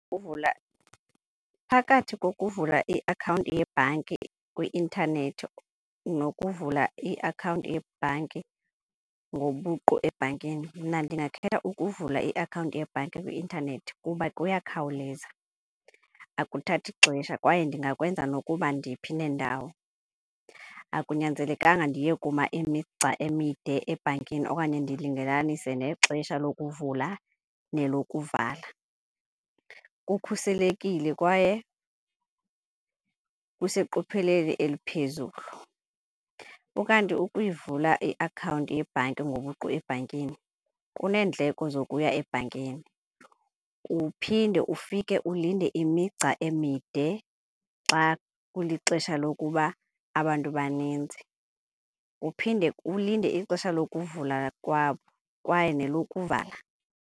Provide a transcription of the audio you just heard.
phakathi kukuvula iakhawunti yebhanki kwi-intanethi nokuvula iakhawunti yebhanki ngobuqu ebhankini, mna ndingakhetha ukuvula iakhawunti yebhanki kwi-intanethi kuba kuyakhawuleza. Akuthathi ixesha kwaye ndingakwenza nokuba ndiphi nendawo, akunyanzelekanga ndiye kuma imigca emide ebhankini okanye ndilungelelanise nexesha lokuvula nelokuvala. Kukhuselekile kwaye kuseqophelweni eliphezulu. Ukanti ukuyivula iakhawunti yebhanki ngobuqu ebhankini kuneendleko zokuya ebhankini, uphinde ufike ulinde imigca emide xa kulixesha lokuba abantu baninzi. Uphinde ulinde ixesha lokuvula kwabo kwaye nelokuvala